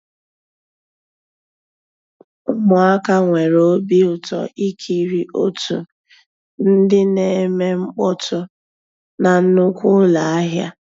Ụmụ́àká nwèré òbí ụtọ́ ìkírí ótú ndị́ ná-èmè mkpọ́tụ́ ná nnùkwú ụ́lọ́ àhịá.